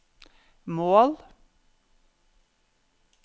mål